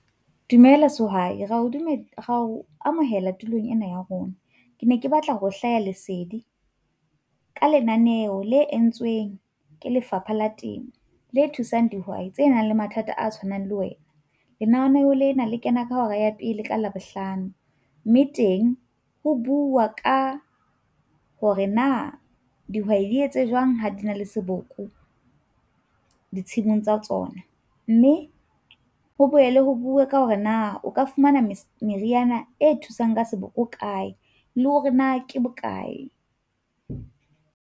Dumela sehwai, re a o dume re a o amohela tulong ena ya rona. Ke ne ke batla ho o hlaha lesedi ka lenaneo le entsweng ke Lefapha la Temo, le thusang dihwai tse nang le mathata a tshwanang le wena. Lenaneo lena le kena ka hora ya pele ka Labohlano, mme teng ho buwa ka hore na dihwai di etse jwang ha di na le seboko ditshimong tsa tsona, mme ho boela ho buuwa ka hore na o ka fumana meriana e thusang ka seboko kae, le hore na ke bokae.